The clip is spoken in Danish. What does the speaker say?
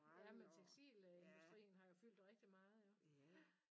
Ja men tekstilindustrien har jo fyldt rigtig meget jo ja